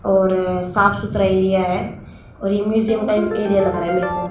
और साफ सुथरा एरिया है और ये म्यूजियम का एरिया लग रहा है मेरे को।